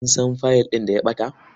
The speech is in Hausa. Kun san fiyil ɗin da ya ɓata?